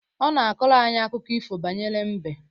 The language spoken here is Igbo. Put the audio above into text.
Ọ na akọrọ anyị akụkọ ifo banyere mbe